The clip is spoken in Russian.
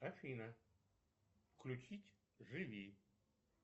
афина включить живи